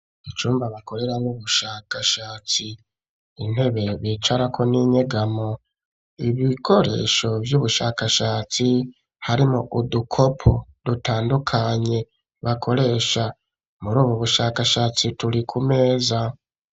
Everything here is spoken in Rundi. Icumba bakereraneramwo ubushakashatsi, intebe bicarako n'inyegamo ibikoresho vy'ubushakashatsi harimwo udukopo dutandukanye bakoresha muri ubu bushakashatsi turi ku meza.